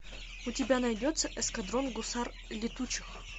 у тебя найдется эскадрон гусар летучих